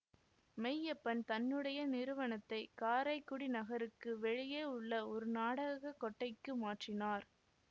மெய்யப்பன் தன்னுடைய நிறுவனத்தைக் காரைக்குடி நகருக்கு வெளியே உள்ள ஒரு நாடக கொட்டைக்கு மாற்றினார்